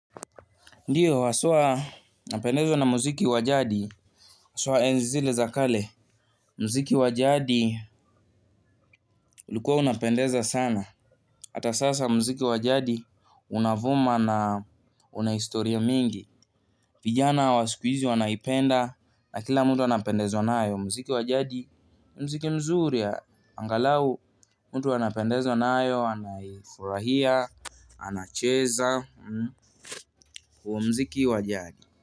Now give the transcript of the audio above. Ndio haswaa napendezwa na muziki wa jadi haswa enzi zile za kale muziki wa jadi ulikua unapendeza sana. Hata sasa muziki wa jadi unavuma na unahistoria mingi. Vijana wa siku hizi wanaipenda na kila mtu anapendezwa nayo. Muziki wa jadi, ni muziki mzuri, angalau mtu anapendezwa nayo, anaifurahia, anacheza, muziki wa jadi.